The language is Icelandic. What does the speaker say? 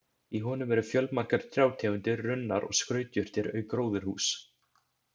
Í honum eru fjölmargar trjátegundir, runnar og skrautjurtir auk gróðurhúss.